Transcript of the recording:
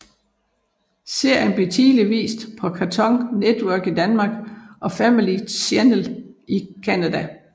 Serien blev tidligere vist på Cartoon Network i Danmark og Family Channel i Canada